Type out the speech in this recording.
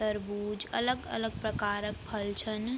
तरबूज अलग अलग प्रकार क फल छन ।